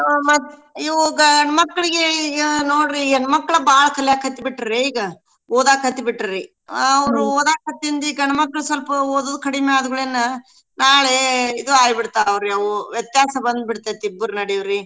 ಅ ಇವೂ ಗಂಡ್ಮಕ್ಳಿಗೆ ಈಗ ನೋಡ್ರಿ ಹೆಣ್ಮಕ್ಳ್ ಬಾಳ್ ಕಲ್ಯಾಕತ್ಬಿಟ್ರಾ ಈಗ ಓದಾಕತ್ಬಿಟ್ರೀ ಅವ್ರ ಓದಾಕತ್ತಿಂದ ಈ ಗಂಡ್ಮಕ್ಳ್ ಸ್ವಲ್ಪಓದೋದ್ ಕಡ್ಮಿಆದ್ಕೂಡ್ಲೇನ್ ನಾಳೇ ಇದು ಆಬಿಡ್ತಾರೌರವು ವ್ಯತ್ಯಾಸ ಬಂದ್ಬಿಡ್ತೇತ್ ಇಬ್ಬರ್ ನಡ್ವೆರೀ.